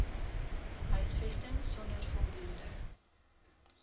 huisvesting sonder voldoende